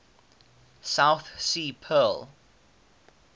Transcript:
south sea pearl